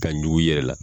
Ka ɲugu i yɛrɛ la